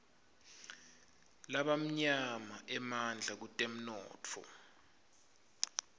labamnyama emandla kutemnotfo